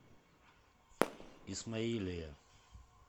исмаилия